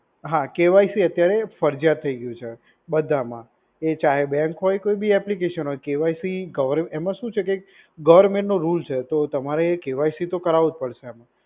હા, K Y C અત્યારે ફરજિયાત થઈ ગયું છે બધામાં. એ ચાહે બેંક હોય, કોઈ બી એપ્લિકેશન હોય. કે વાય સી ગવર, એમાં શું છે કે ગવર્મેન્ટ નો રુલ્સ છે. તો તમારે કે વાય સી તો કરાવવું પડશે એમ.